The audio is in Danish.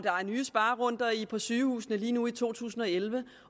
er nye sparerunder på sygehusene lige nu i to tusind og elleve